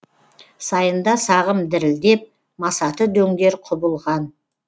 сайында сағым дірілдеп масаты дөңдер құбылған